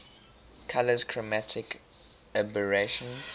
colours chromatic aberration